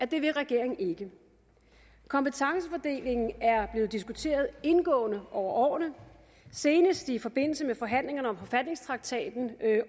det vil regeringen ikke kompetencefordelingen er blevet diskuteret indgående over årene og senest i forbindelse med forhandlingerne om forfatningstraktaten